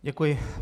Děkuji.